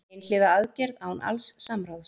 Einhliða aðgerð án alls samráðs